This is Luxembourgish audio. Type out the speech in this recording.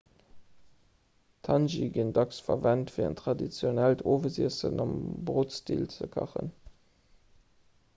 d'hangi ginn dacks verwent fir en traditionellt owesiessen am brotstil ze kachen